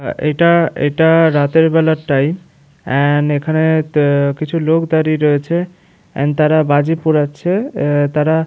হা এইটা এইটা রাতের বেলার টাইম । এন্ড এইখানে তে কিছু লোক দাঁড়িয়ে রয়েছে। এন্ড তারা বাজি পোড়াচ্ছে। এ তারা --